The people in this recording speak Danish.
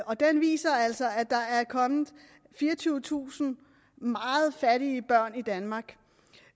og den viser altså at der er kommet fireogtyvetusind meget fattige børn i danmark